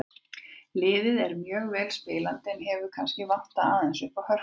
Liðið er mjög vel spilandi en hefur kannski vantað aðeins uppá hörkuna.